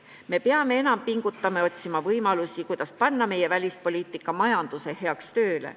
Me peame enam pingutama ja otsima võimalusi, kuidas panna meie välispoliitika majanduse heaks tööle.